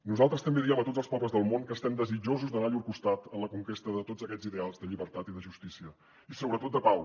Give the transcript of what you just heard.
nosaltres també diem a tots els pobles del món que estem desitjosos d’anar a llur costat en la conquesta de tots aquests ideals de llibertat i de justícia i sobretot de pau